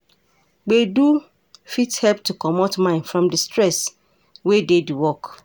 gbedu fit help to comot mind from di stress wey dey di work